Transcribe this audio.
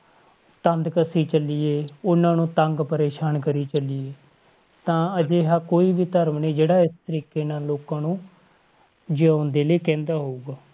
ਤੰਦ ਕਸੀ ਚੱਲੀਏ, ਉਹਨਾਂ ਨੂੰ ਤੰਗ ਪਰੇਸਾਨ ਕਰੀ ਚੱਲੀਏ, ਤਾਂ ਅਜਿਹਾ ਕੋਈ ਵੀ ਧਰਮ ਨੀ ਜਿਹੜਾ ਇਸ ਤਰੀਕੇ ਨਾਲ ਲੋਕਾਂ ਨੂੰ ਜਿਊਣ ਦੇ ਲਈ ਕਹਿੰਦਾ ਹੋਊਗਾ।